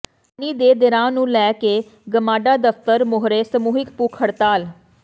ਪਾਣੀ ਦੇ ਰ ਾਂ ਨੂੰ ਲੈ ਕੇ ਗਮਾਡਾ ਦਫ਼ਤਰ ਮੂਹਰੇ ਸਮੂਹਿਕ ਭੁੱਖ ਹੜਤਾਲ